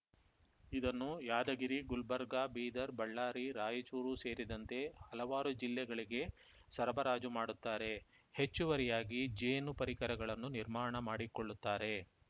ಇವನ್ನು ಯಾದಗಿರಿ ಗುಲ್ಬರ್ಗಾ ಬೀದರ್‌ ಬಳ್ಳಾರಿ ರಾಯಚೂರು ಸೇರಿದಂತೆ ಹಲವಾರು ಜಿಲ್ಲೆಗಳಿಗೆ ಸರಬರಾಜು ಮಾಡುತ್ತಾರೆ ಹೆಚ್ಚುವರಿಯಾಗಿ ಜೇನು ಪರಿಕರಗಳನ್ನು ನಿರ್ಮಾಣ ಮಾಡಿಕೊಳ್ಳುತ್ತಾರೆ